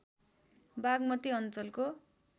बाग्मती अञ्चलको